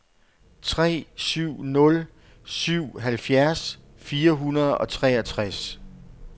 tre syv nul syv halvfjerds fire hundrede og treogtres